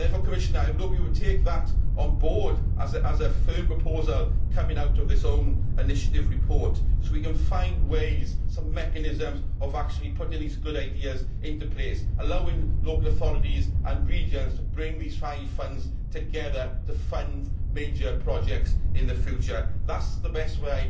Therefore, Commissioner, I hope you will take that on board as a firm proposal to come out of this own initiative report so we can find ways and mechanisms of actually putting these good ideas into place, allowing local authorities and regions to bring these five funds together to fund major projects in the future. I believe that is the best